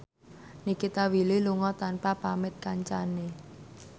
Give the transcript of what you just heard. Nikita Willy lunga tanpa pamit kancane